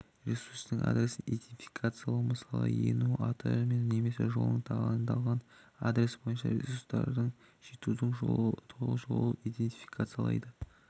ресурстың адресін идентификациялау мысалы ену аты немесе жолы таңдалған адрес бойынша ресурсқа жетудің толық жолын инедтификациялайды